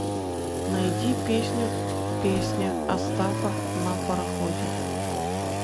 найди песню песня остапа на пароходе